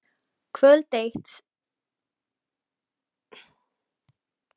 Kvöld eitt seint um haustið var barið að dyrum.